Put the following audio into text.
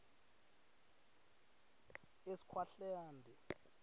eskhwahlande